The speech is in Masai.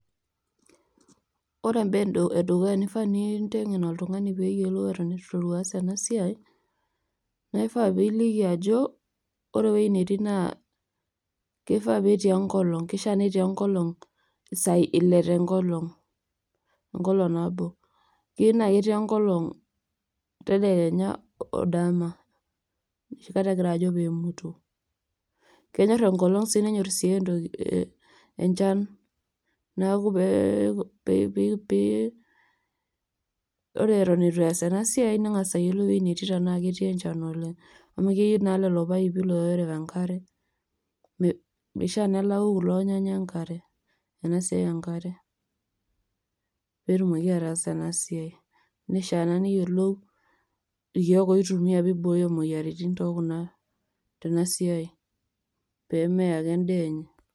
ore embae edukuya nifaa nintengen oltung'ani, pee eyiolou eton eitu interu aas ena siai, naa ifaa pee iliki ajo ore ewueji netiii naa, kifaa netii enkolong'.kifaa netii esiai ilepu enkolong' tedekenya,o dama enoshi kata egira ajo pee emutu, kenyor enkolong' nenyor sii enchan. neeku pee ore eton eitu ees ena siai neyiolou ewuei netii. tenaa ketii encan oleng.